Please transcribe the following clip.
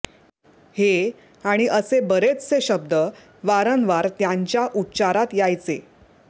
हे आणि असे बरेचशे शब्द वारंवार त्यांच्या उच्चारात यायचे